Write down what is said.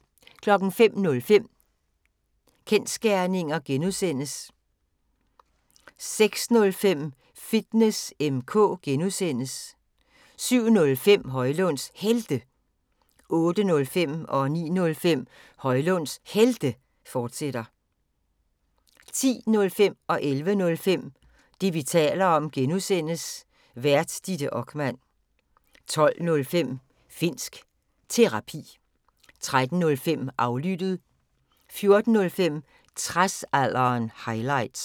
05:05: Kensgerninger (G) 06:05: Fitness M/K (G) 07:05: Højlunds Helte 08:05: Højlunds Helte, fortsat 09:05: Højlunds Helte, fortsat 10:05: Det, vi taler om (G) Vært: Ditte Okman 11:05: Det, vi taler om (G) Vært: Ditte Okman 12:05: Finnsk Terapi 13:05: Aflyttet 14:05: Tradsalderen – highlights